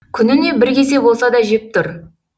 күніне бір кесе болса да жеп тұр